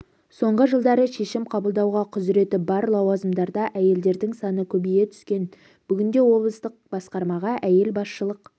соңғы жылдары шешім қабылдауға құзыреті бар лауазымдарда әйелдердің саны көбейе түскен бүгінде облыстық басқармаға әйел басшылық